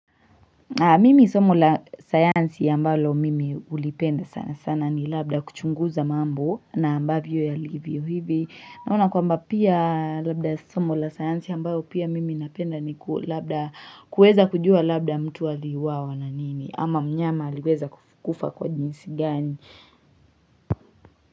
Mimi somo la sayansi ambalo mimi ulipenda sana sana ni labda kuchunguza mambo na ambavyo yalivyo hivi. Naona kwamba pia labda somo la sayansi ambayo pia mimi napenda ni labda kueza kujua labda mtu aliuawa na nini ama mnyama aliweza kukufa kwa jinsi gani.